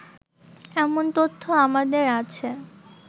এমন তথ্য আমাদের আছে